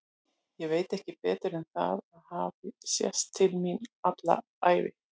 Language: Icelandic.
Ég veit ekki betur en að það hafi sést til mín alla ævi.